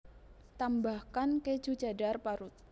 Tambahkan keju cheddar parut